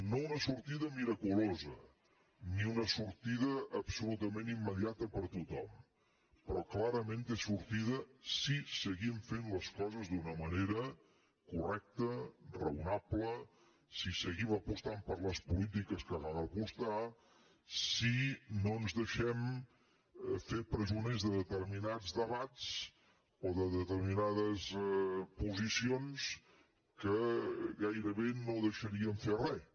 no una sortida miraculosa ni una sortida absolutament immediata per a tothom però clarament té sortida si seguim fent les coses d’una manera correcta raonable si seguim apostant per les polítiques per les quals cal apostar si no ens deixem fer presoners de determinats debats o de determinades posicions que gairebé no deixarien fer res